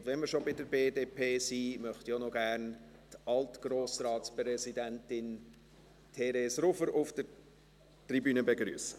Und wenn wir schon bei der BDP sind, möchte ich auch noch die Altgrossratspräsidentin Therese Rufer auf der Tribüne begrüssen.